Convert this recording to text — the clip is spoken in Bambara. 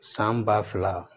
San ba fila